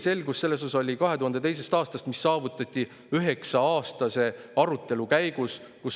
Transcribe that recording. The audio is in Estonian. Selgus selles osas saadi 2002. aastal, see saavutati üheksa-aastase arutelu käigus.